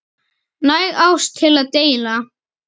Næg ást til að deila.